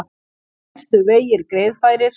Helstu vegir greiðfærir